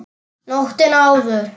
Nóttina áður!